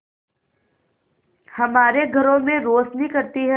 हमारे घरों में रोशनी करती है